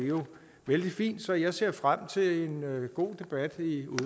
vældig fint så jeg ser frem til en god debat